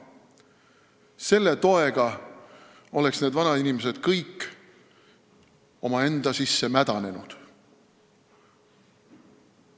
Ainult selle toega oleksid need vanainimesed kõik omaenda sisse mädanenud.